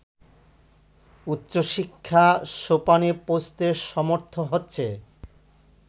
উচ্চশিক্ষা সোপানে পৌঁছতে সমর্থ হচ্ছে